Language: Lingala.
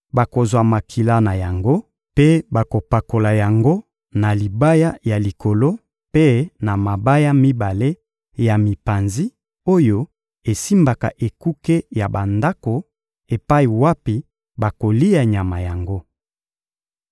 Bakozwa makila na yango mpe bakopakola yango na libaya ya likolo mpe na mabaya mibale ya mipanzi oyo esimbaka ekuke ya bandako epai wapi bakolia nyama yango.